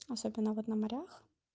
особенно вот на морях